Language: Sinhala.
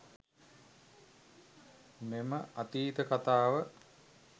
මෙම අතීත කතාව